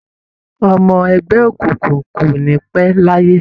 Ọmọ ẹgbẹ́ òkùnkùn kò ní pẹ́ láyé.